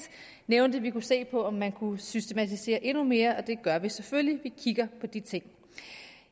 nævnte vi se på om man kan systematisere det endnu mere og det gør vi selvfølgelig vi kigger på de ting